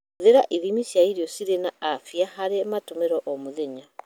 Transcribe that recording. Hũthĩra ithimi cia irio cirĩ na afia harĩ matũmiro o mũthenya.